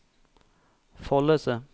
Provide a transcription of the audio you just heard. Follese